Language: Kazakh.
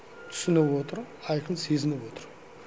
түсініп отыр айқын сезініп отыр